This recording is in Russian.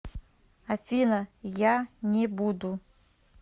афина я не буду